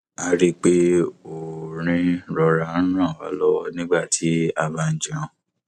a rí i pé orin rọra ń ràn wa lọwọ nígbà tí a bá ń jẹun